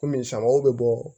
Kɔmi samaw bɛ bɔ